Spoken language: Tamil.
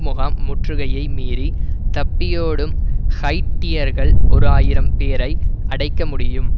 முகாம் முற்றுகையை மீறி தப்பியோடும் ஹைய்ட்டியர்கள் ஓராயிரம் பேரை அடைக்க முடியும்